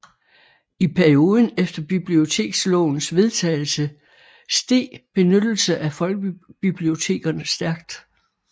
I perioden efter bibliotekslovens vedtagelse steg benyttelse af folkebibliotekerne stærkt